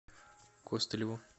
костылеву